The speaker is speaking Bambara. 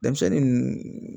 Denmisɛnnin ninnu